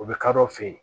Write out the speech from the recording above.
U bɛ kadɔw fe yen